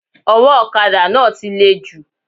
Owó òkadà náà ti le jù